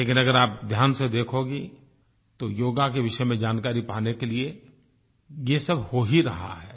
लेकिन अगर आप ध्यान से देखोगी तो योग के विषय में जानकारी पाने के लिए ये सब हो ही रहा है